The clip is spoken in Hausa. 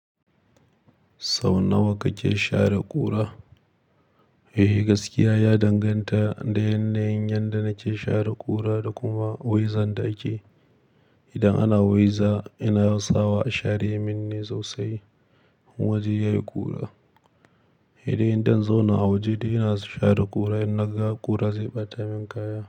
Sau nawa kake share ƙura? Eh gaskiya ya danganta da yanayin yanda nake share ƙura da kuma wanzan da ake. Idan ana weza yana yawan sawa a share shi min ne sosai. Wajen yayi ƙura. Idan zan je in zauna a waje da ina share ƙura, in na ga ƙura zai ɓata min kaya.